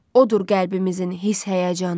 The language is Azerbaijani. Odur qəlbimizin hiss həyəcanı.